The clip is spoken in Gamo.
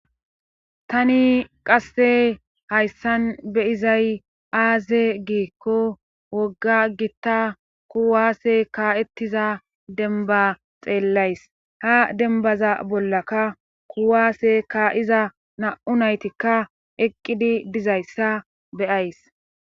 tani qasse hayssan beyizay aaze giikko wogga gitta kuwaase kaa7ettiza denba xeellays ha denbaza bollaka kuwaase ka iza na7u naytikka eqqidi dizayssa beyays